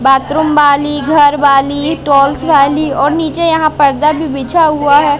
Bathroom वाली घरवाली towels वाली और नीचे यहां पर्दा भी बिछा हुआ है।